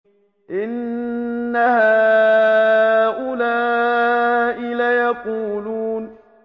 إِنَّ هَٰؤُلَاءِ لَيَقُولُونَ